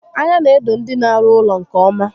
Anya n'edo ndị n'arụ ụlọ nke ọma